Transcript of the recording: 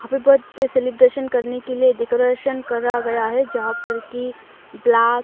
happy birthday celebration करने के लिए डेकोरेट करा गया है जहां पर की ब्ला--